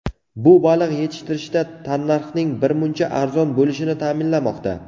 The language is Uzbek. Bu baliq yetishtirishda tannarxning birmuncha arzon bo‘lishini ta’minlamoqda.